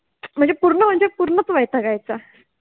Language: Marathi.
म्हणजे पुर्ण म्हणजे पुर्णच वैतागायचा